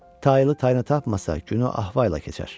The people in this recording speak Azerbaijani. Taylı tayını tapmasa günü ah-vah ilə keçər.